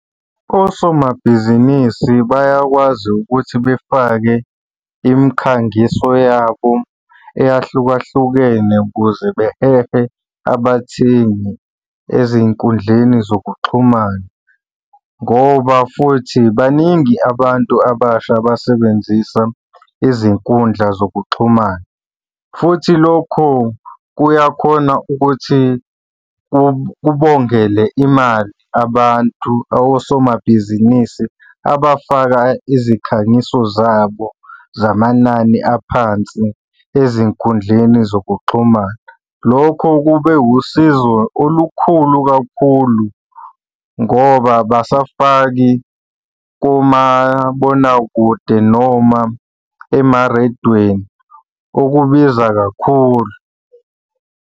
Osomabhizinisi bayakwazi ukuthi befake imikhangiso yabo eyahlukahlukene ukuze behehe abathengi ezinkundleni zokuxhumana ngoba futhi baningi abantu abasha abasebenzisa izinkundla zokuxhumana, futhi lokhu kuyakhona ukuthi kubongele imali abantu osomabhizinisi abafaka izikhangiso zabo zamanani aphansi ezinkundleni zokuxhumana. Lokho kube wusizo olukhulu kakhulu ngoba abasafaki komabonakude noma emarediyweni okubiza kakhulu.